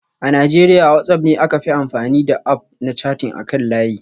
A Najeriya WhatsApp ne aka fi amfani da App na chatting akan layi